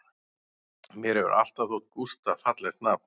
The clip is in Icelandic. Mér hefur alltaf þótt Gústaf fallegt nafn